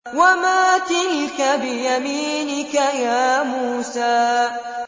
وَمَا تِلْكَ بِيَمِينِكَ يَا مُوسَىٰ